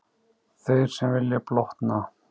Þeir sem vilja blotna.